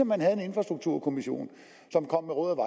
man havde en infrastrukturkommission som kom med råd og